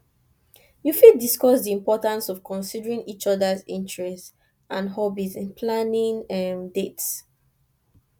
you fit discuss di importance of considerng each odas interests and hobbies in planning dates